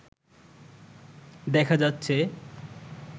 দেখা যাচ্ছে